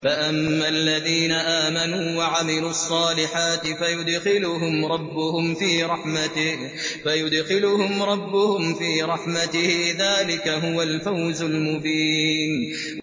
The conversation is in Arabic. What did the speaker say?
فَأَمَّا الَّذِينَ آمَنُوا وَعَمِلُوا الصَّالِحَاتِ فَيُدْخِلُهُمْ رَبُّهُمْ فِي رَحْمَتِهِ ۚ ذَٰلِكَ هُوَ الْفَوْزُ الْمُبِينُ